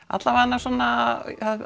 alla vega svona